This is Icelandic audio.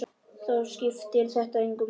Þá skiptir þetta engu máli.